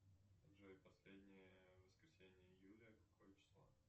джой последнее воскресенье июля какое число